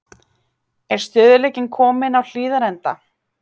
Er stöðugleikinn kominn á Hlíðarenda?